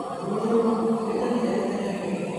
Nguirwo nĩ ngamĩĩra rita rĩa mbere.